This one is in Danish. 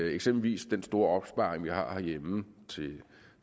eksempelvis den store opsparing vi har herhjemme